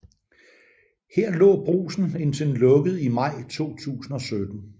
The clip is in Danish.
Her lå Brugsen indtil den lukkede i maj 2017